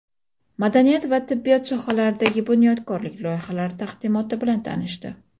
madaniyat va tibbiyot sohalaridagi bunyodkorlik loyihalari taqdimoti bilan tanishdi.